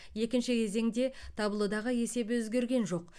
екінші кезеңде таблодағы есеп өзгерген жоқ